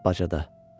Bacada.